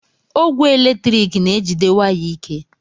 Ogwe eletrik na-ejide waya ike